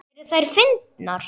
Eru þær fyndnar?